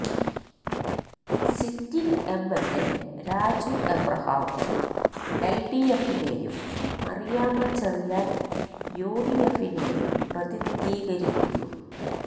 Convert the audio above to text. sitting MLA Raju Abraham എല്ഡിഎഫിനെയും മറിയാമ്മാ ചെറിയാന് യുഡിഎഫിനെയും പ്രതിനിധീകരിക്കുന്നു